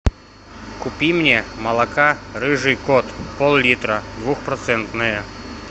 купи мне молока рыжий кот поллитра двухпроцентное